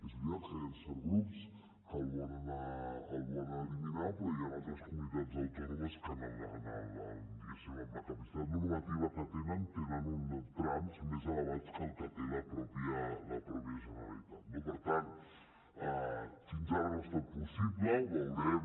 és veritat que hi han certs grups que el volen eliminar però hi han altres comunitats autònomes que diguéssim amb la capacitat normativa que tenen tenen uns trams més elevats que els que té la mateixa generalitat no per tant fins ara no ha estat possible veurem